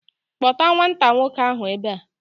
Kpọta nwata nwoke ahu ebe a!